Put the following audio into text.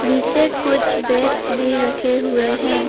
नीचे कुछ बैट्स भी रखे हुए हैं।